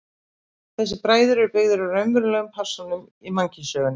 Þessir bræður eru byggðir á raunverulegum persónum í mannkynssögunni.